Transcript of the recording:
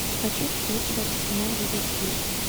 хочу встречу арсенал ливерпуль